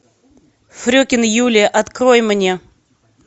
фрекен юлия открой мне